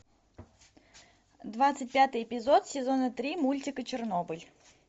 двадцать пятый эпизод сезона три мультика чернобыль